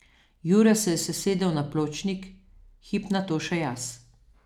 Jure se je sesedel na pločnik, hip nato še jaz.